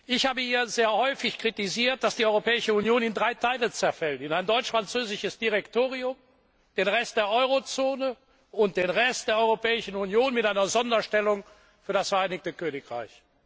Ich habe hier sehr häufig kritisiert, dass die Europäische Union in drei Teile zerfällt in ein deutsch französisches Direktorium, den Rest der Euro Zone und den Rest der Europäischen Union mit einer Sonderstellung für das Vereinigte Königreich.